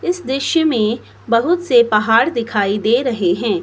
इस दृश्य में बहुत से पहाड़ दिखाई दे रहे हैं।